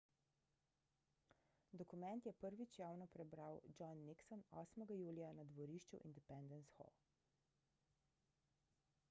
dokument je prvič javno prebral john nixon 8 julija na dvorišču independence hall